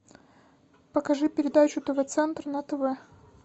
покажи передачу тв центр на тв